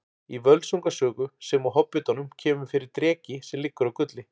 Í Völsunga sögu sem og Hobbitanum kemur fyrir dreki sem liggur á gulli.